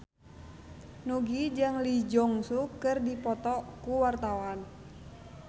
Nugie jeung Lee Jeong Suk keur dipoto ku wartawan